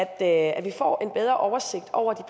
at vi får en bedre oversigt over